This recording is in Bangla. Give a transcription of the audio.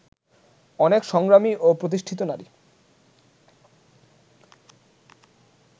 অনেক সংগ্রামী ও প্রতিষ্ঠিত নারী